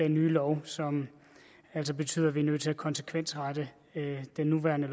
en ny lov som altså betyder at vi er nødt til at konsekvensrette den nuværende